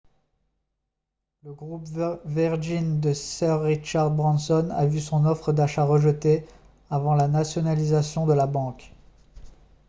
le groupe virgin de sir richard branson a vu son offre d'achat rejetée avant la nationalisation de la banque